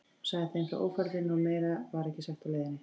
Hann sagði þeim frá ófærðinni og meira var ekki sagt á leiðinni.